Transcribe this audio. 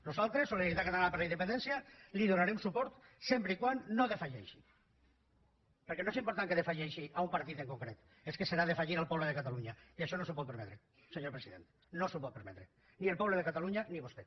nosaltres solidaritat catalana per la independència li donarem suport sempre que no defalleixi perquè no és important que defalleixi a un partit en concret és que serà defallir al poble de catalunya i això no s’ho pot permetre senyor president no s’ho pot permetre ni el poble de catalunya ni vostè